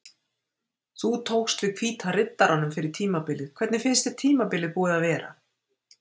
Þú tókst við Hvíta Riddaranum fyrir tímabilið hvernig finnst þér tímabilið búið að vera?